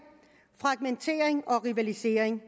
fragmentering og rivalisering